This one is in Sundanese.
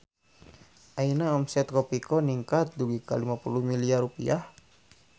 Ayeuna omset Kopiko ningkat dugi ka 50 miliar rupiah